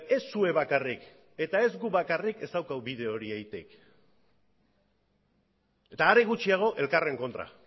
ez zuek bakarrik eta ez guk bakarrik ez daukagu bide hori egiterik eta are gutxiago elkarren kontra